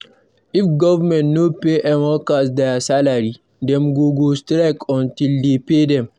If government no pay em workers their salary, dem go go strike until dem pay dem.